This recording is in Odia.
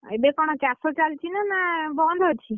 ଏବେ କ’ଣ ଚାଷ ଚାଲିଛି ନା! ବନ୍ଦ ଅଛି?